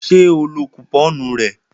Ṣé ó lọ kùpọ́ọ̀nù rẹ̀